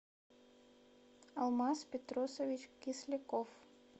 алмаз петросович кисляков